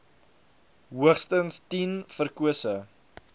hoogstens tien verkose